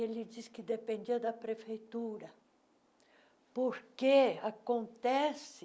Ele disse que dependia da prefeitura, porque acontece...